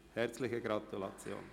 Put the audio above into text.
Herzliche Gratulation!